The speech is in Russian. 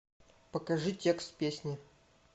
покажи текст песни